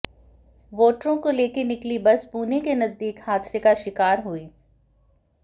वोटरों को लेकर निकली बस पुणे के नजदीक हादसे का शिकार हुई